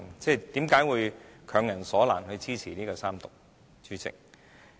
為何會強人所難？要支持三讀，主席？